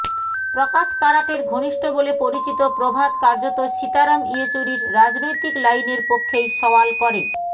প্রকাশ কারাটের ঘনিষ্ঠ বলে পরিচিত প্রভাত কার্যত সীতারাম ইয়েচুরির রাজনৈতিক লাইনের পক্ষেই সওয়াল করে